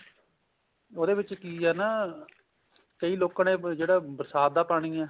ਉਹਦੇ ਵਿੱਚ ਕੀ ਆ ਨਾ ਕਈ ਲੋਕਾਂ ਨੇ ਜਿਹੜਾ ਬਰਸਾਤ ਦਾ ਪਾਣੀ ਆ